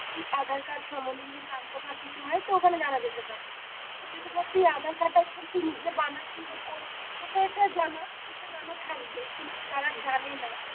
কিছু আধার কার্ড সম্বন্ধে যদি জানতে বা কিছু হয় তো ওখানে জানা যেতে পারে বা যদি ধর তুই আধার কার্ড আর তুই নিজে বানাচ্ছিস বা করছিস তোকে তো এটা তোর তো জানা থাকবেই কিন্তু যারা জানে না,